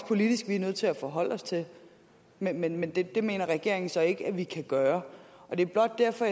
politisk er nødt til at forholde os til men men det mener regeringen så ikke at vi kan gøre det er blot derfor